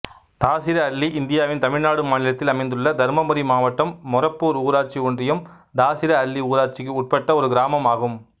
தாசிரஅள்ளி இந்தியாவின் தமிழ்நாடு மாநிலத்தில் அமைந்துள்ள தர்மபுரி மாவட்டம் மொரப்பூர் ஊராட்சி ஒன்றியம்தாசிரஅள்ளி ஊராட்சிக்கு உட்பட்ட ஒரு கிராமம் ஆகும்